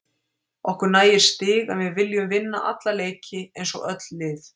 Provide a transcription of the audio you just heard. Okkur nægir stig en við viljum vinna alla leiki eins og öll lið.